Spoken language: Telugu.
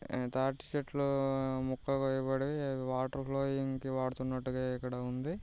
తాటి చెట్లు మొక్కలు కోయబడి వాటర్ ఫ్లోయింగ్ కి వాడుతున్నట్టుగా ఇక్కడ ఉంది.